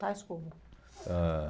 Tais como? Ãh